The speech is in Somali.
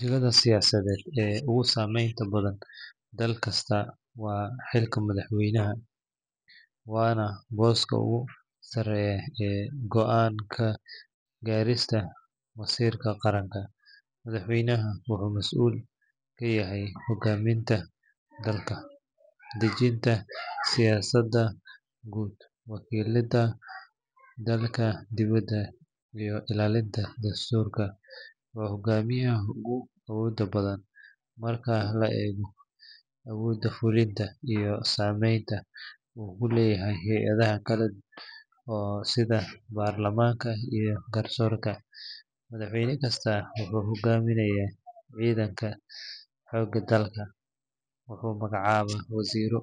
Jagada siyaasadeed ee ugu saameynta badan dalka kasta waa xilka madaxweynaha, waana booska ugu sarreeya ee go’aan ka gaarista masiirka qaranka. Madaxweynaha wuxuu mas’uul ka yahay hoggaaminta dalka, dejinta siyaasadda guud, wakiilidda dalka dibadda iyo ilaalinta dastuurka. Waa hogaamiyaha ugu awoodda badan marka la eego awoodda fulinta iyo saameynta uu ku leeyahay hay’adaha kale sida baarlamaanka iyo garsoorka. Madaxweyne kasta wuxuu hogaaminayaa ciidanka xoogga dalka, wuxuu magacaabaa wasiirro,